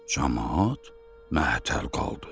Camaat məhətəl qaldı.